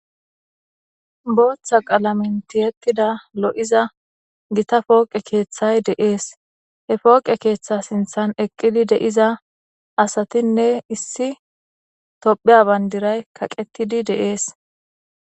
Booththa qalamentiyettida lo7iza gita pooqe keeththay deees he pooqe keeththa sinthan eqqidi de7iza asatinne issi tophiya bandiray kaqetidi de7ees.